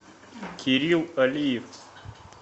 кирилл алиев